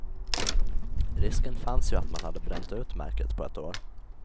Risken fanns ju att man hade bränt ut märket på ett år.